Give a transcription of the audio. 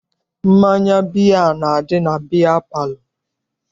Mmanya biya na-adị na biya palọ.